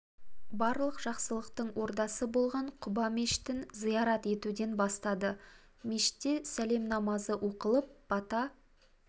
барлық жақсылықтың ордасы болған құба мешітін зиярат етуден бастады мешітте сәлем намазы оқылып бата